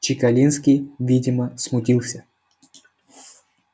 чекалинский видимо смутился